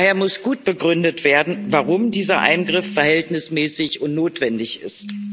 Daher muss gut begründet werden, warum dieser Eingriff verhältnismäßig und notwendig ist.